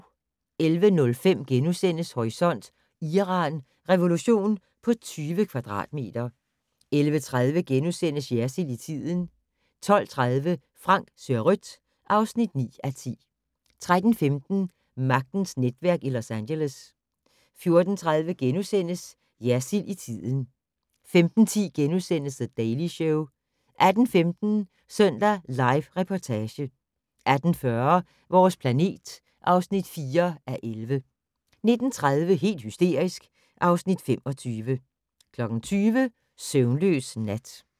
11:05: Horisont: Iran: Revolution på 20 kvadratmeter * 11:30: Jersild i tiden * 12:30: Frank ser rødt (9:10) 13:15: Magtens netværk i Los Angeles 14:30: Jersild i tiden * 15:10: The Daily Show * 18:15: Søndag Live Reportage 18:40: Vores planet (4:11) 19:30: Helt hysterisk (Afs. 25) 20:00: Søvnløs nat